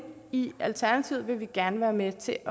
i alternativet vil vi gerne være med til at